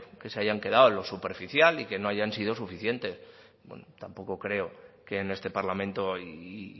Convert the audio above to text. que se hayan quedado en lo superficial y que no hayan sido suficientes bueno tampoco creo que en este parlamento y